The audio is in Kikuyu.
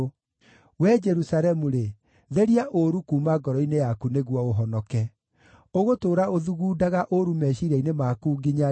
Wee Jerusalemu-rĩ, theria ũũru kuuma ngoro-inĩ yaku nĩguo ũhonoke. Ũgũtũũra ũthugundaga ũũru meciiria-inĩ maku nginya-rĩ?